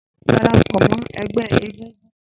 Darapọ mọ ẹgbẹ egúngún!